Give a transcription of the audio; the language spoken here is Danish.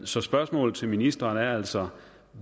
så spørgsmålet til ministeren er altså